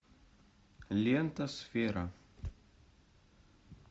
лента сфера